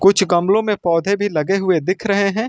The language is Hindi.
कुछ गमलों में पौधे भी लगे हुए दिख रहे हैं।